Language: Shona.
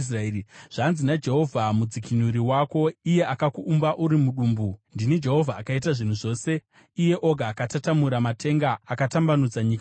“Zvanzi naJehovha, mudzikinuri wako, iye akakuumba uri mudumbu: “Ndini Jehovha, akaita zvinhu zvose, iye oga akatatamura matenga, akatambanudza nyika oga,